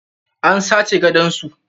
An sace gadon su.